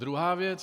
Druhá věc.